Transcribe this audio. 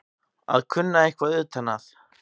Að kunna eitthvað utan að